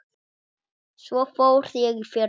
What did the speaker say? Svo fór ég í fyrra.